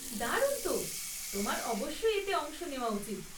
দারুণ তো, তোমার অবশ্যই এতে অংশ নেওয়া উচিত।